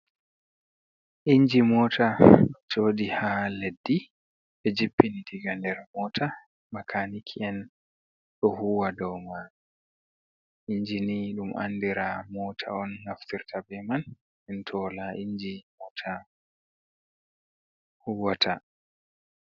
Inji mota joɗi ha leddi ɓe jippini diga nder mota makaniki en ɗo huwa dou mai, injini ɗum andira mota on naftirta be man, den to wala inji mota huwata.